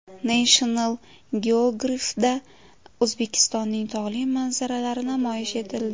National Geographic’da O‘zbekistonning tog‘li manzaralari namoyish etildi .